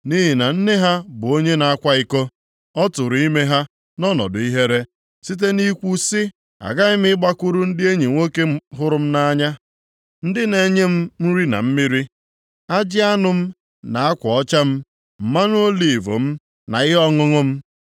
Nʼihi na nne ha bụ onye na-akwa iko, ọ tụrụ ime ha nʼọnọdụ ihere. Site nʼikwu sị, ‘Aghaghị m ịgbakwuru ndị enyi nwoke hụrụ m nʼanya, ndị na-enye m nri na mmiri, ajị anụ m na akwa ọcha m, mmanụ oliv m na ihe ọṅụṅụ m.’